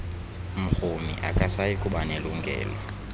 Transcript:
mrhumi akasayi kubanelungelo